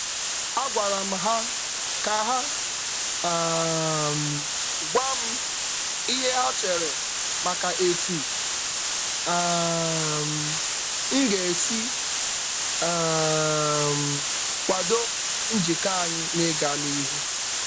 A gwara m ha ka ha um gwa m ihe ha chere maka etu um m ga-esi um kwado njikọ anyị n'ịga n'ihu.